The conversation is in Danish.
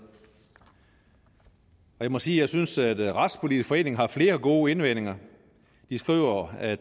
jeg må sige at jeg synes at retspolitisk forening har flere gode indvendinger de skriver at